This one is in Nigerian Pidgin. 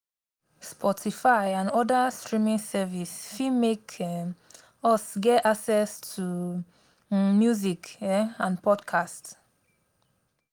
sportify and oda streaming service fit make um us get access to um music um and podcast